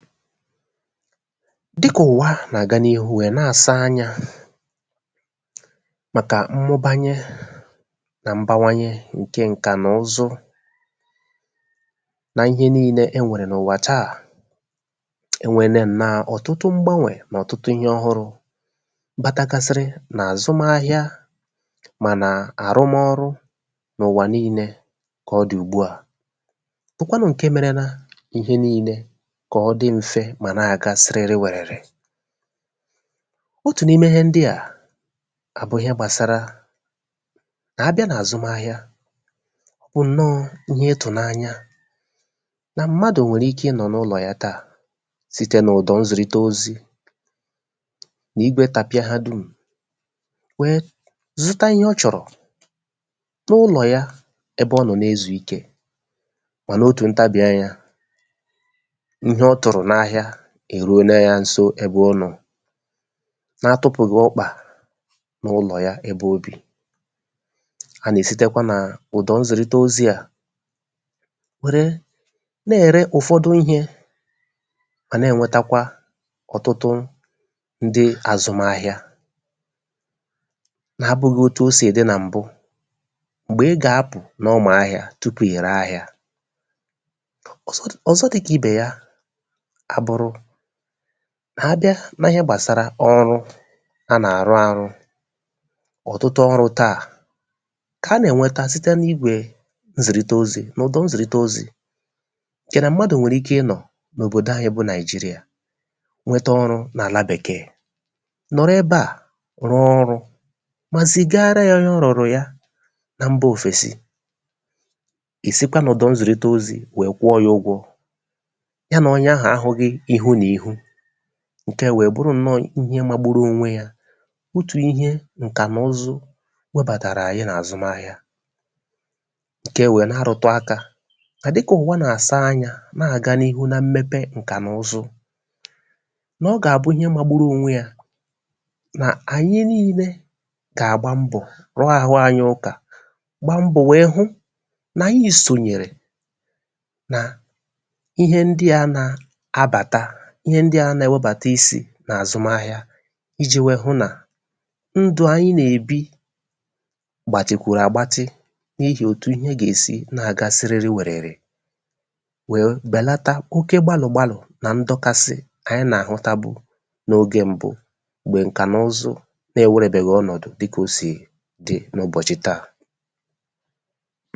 dị kà ụ̀wa à nà àga n’ịhụ wẹ̀ nà àsa anyā, màkà mmụbanyẹ nà mbawanyẹ ǹkẹ ǹkànụzụ nà ịhe nille ẹ nwẹ̀rẹ̀ n’ụ̀wà tà. e nwele ǹnọ ọ̀tụtụ mgbanẁ nà ọ̀tụtụ ihē ọhụrụ batagasịrị nà àzụmahịa, mà nà àrụmọrụ n’ụ̀wà nille, kà ọ dị̀ n’ùgbu à, bụkwanụ ǹke merela ihe nille kà ọ dị mfe, mà nà àga sịrịrị wẹ̀rẹ̀rẹ̀. otù n’ime ihe ndịà àbụrụ gbàsara, nà abịa nà àzụmahịa, ọ bụ̀ ǹnọ ihe ịtụ̀nanya, nà m̀madù nwèrè ike ị nọ̀ n’ụnọ̀ ya, site nà ụ̀dọ̀ nzìrite ozī, nà igwe tàpịa ha dùm, wẹ zụta ihe ọ chọ̀rò, nụlọ̀ ya, ebe ọ nọ̀ na ezù ikē. mànà otù ntabì anya, ịhẹ ọ tụ̀rụ̀ n’ahịa è ruo ya ǹso n’ẹbẹ ọ nọ̀, na atụpụ̀ghị̀ ọkpà ya n’ụlọ ebe o bì. a nà èsitekwa nà ụ̀dọ̀ nzìrite ozī à, wère nà ère ụ̀fọdụ ihē, mà nà ènwetakwa ndị azụmahịa, na abụghị otu o sì dị nà m̀bụ. m̀gbè ị gà apụ̀ n’ụmụ̀ahịà tupù ị̀ re ahịa. ọ̀zọ dịkà ibe ya a bụrụ, a bị, kà a nà ènweta, site n’a na ihe gbàsara ọrụ a nà àrụ arụ, ọ̀tụtụ ọrụ̄ tà kà a nà ènweta site n’igwè nzìrite ozī, n’ụ̀dọ̀ nzìrite ozī. yà nà mmadù nwèrè ike ị nọ̀ n’òbòdo anyị bụ Nàịjịrị̀à nwẹtẹ ọrụ̄ nà àla Bèkẹẹ, nọ̀rọ ebe à rụọ ọrụ̄, mà zìgara ya ịhẹ ọ rụ̀rụ̀ y ana mbā òfèsi. ị̀ sịkwa n’ụ̀dọ̀ nzìrite ozī wẹ kwụọ̄ ya ụgwọ̄. y anà onye ahụ̀ a hughị ihụ̀ nà ịhụ. ǹkẹ à wẹ bụrụ ǹnọ ihe magburu onwe yā, otù ihe ǹkànụzụ wẹbàtàra ànyị n’àzụmahịa. ǹke à we na arụ̀tụ akā, nà dị kà ụ̀wa nà àsa anyā, àganịhụ na mmẹpẹ ǹkànụzụ, nà ọ gà àbụ ihe magburu onwe ya, nà ànyị nille gà àgba mbọ̀ rụọ àhụ anyị ụkà, gba mbọ̀ wẹ hụ nà ànyị sònyèrè nà ihe ndịa na abàta, ihe ndị à na ẹwẹbàata isī nà àzụmahịa, ijī hụ nà ndụ̀ anyị nà èbi gbàtikwù àgbatị I jì òtù ihe gà èsi àgba sịrịrị wẹ̀rẹ̀rẹ̀, wè bẹ̀lata oke gbalị̀ gbalị̀, nà ndọkasị a nà àhụta bụ n’ogē mbụ, m̀gbè ǹkànụzụ n’ẹwẹrẹ̀bẹghị ọnọ̀dụ dị kà o sì dị n’ụbọ̀chị̀ tà.